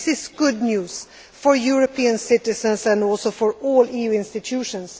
This is good news for European citizens and also for all EU institutions.